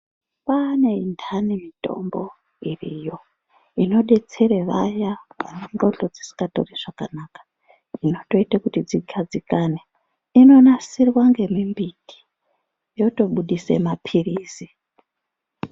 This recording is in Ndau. Kwaane intani mitombo iriyo, inodetsere vaya vane ndxondo dzisingatori zvakanaka, inotoite kuti dzigadzikane. Inonasirwa ngemimbiti, yotobudise maphirizi.